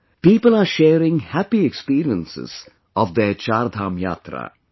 People are sharing happy experiences of their 'CharDham Yatra'